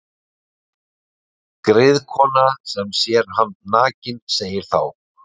Griðkona sem sér hann nakinn segir þá: